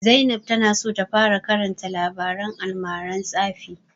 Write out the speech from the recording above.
Zainab ta na so ta fara karanta labaren almaran tsafi